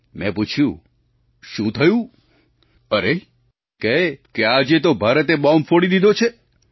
મેં પૂછ્યું શું થયું અરે કહે કે આજે તો ભારતે બોંબ ફોડી દીધો છે